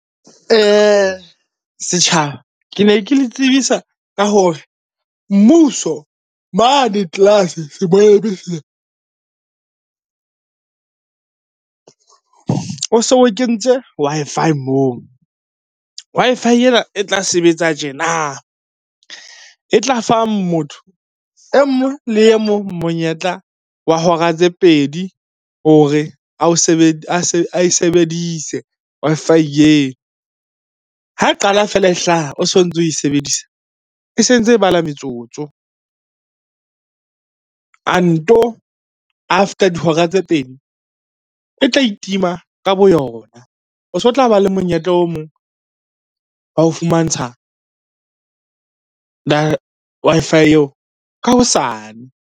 Setjhaba ke ne ke le tsebisa ka hore mmuso mane o so kentse Wi-Fi moo. Wi-Fi ena e tla sebetsa tjena, e tla fa motho emong le emong monyetla wa hora tse pedi hore ae sebedise Wi-Fi eo. Ha e qala feela e hlaha o so ntso oe sebedisa, e se ntse e bala metsotso. A nto after dihora tse pedi, e tla itima ka boyona. O so tla ba le monyetla o mong wa ho fumantsha Wi-Fi eo ka hosane.